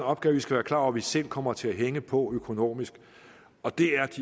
opgave vi skal være klar over vi selv kommer til at hænge på økonomisk og det er